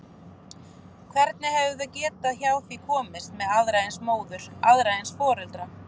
Hvernig hefðu þau getað hjá því komist með aðra eins móður, aðra eins foreldra?